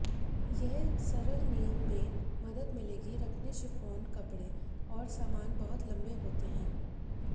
ये सरल नियम में मदद मिलेगी रखने शिफॉन कपड़े और सामान बहुत लंबे होते हैं